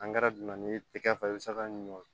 dunna n'i ye tɛgɛ fa i bi se ka ɲin'o